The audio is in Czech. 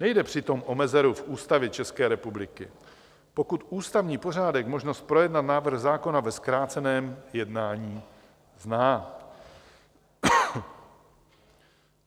Nejde přitom o mezeru v Ústavě České republiky, pokud ústavní pořádek možnost projednat návrh zákona ve zkráceném jednání zná.